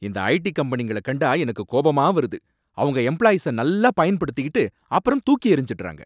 இந்த ஐடி கம்பெனிங்கள கண்டா எனக்குக் கோபமா வருது, அவங்க எம்ப்ளாயீஸ நல்லா பயன்படுத்திகிட்டு அப்புறம் தூக்கியெறிஞ்சிடுறாங்க.